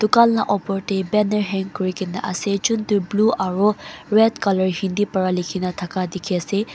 tukan laga opor teh banner hang kurina ase chuntu blue aro red colour hindi bara likina taka teki ase.